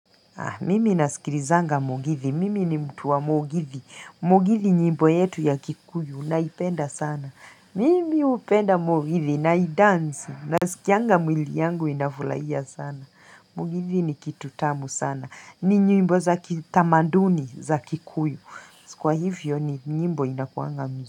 Mimi nasikilizanga mugithi. Mimi ni mtu wa mugithi. Mugithi nyimbo yetu ya kikuyu naipenda sana. Mimi hupenda mugithi naidance. Nasikianga mwili yangu inafurahia sana. Mugithi ni kitu tamu sana. Ni nyimbo za kitamaduni za kikuyu. Kwa hivyo ni nyimbo inakuanga.